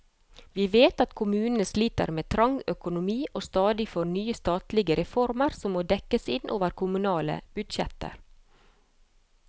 Vi vet at kommunene sliter med trang økonomi og stadig får nye statlige reformer som må dekkes inn over kommunale budsjetter.